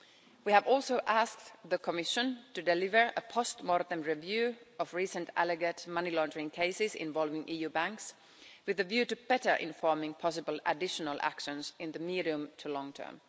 We have also asked the Commission to deliver a post-mortem review of recent alleged money laundering cases involving EU banks, with a view to better informing possible additional actions in the medium to long term.